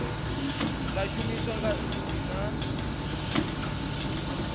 ḽa shumiswa nga nnyi na